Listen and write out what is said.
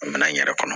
An mɛna n yɛrɛ kɔnɔ